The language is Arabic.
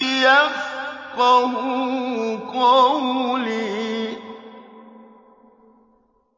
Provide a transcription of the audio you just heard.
يَفْقَهُوا قَوْلِي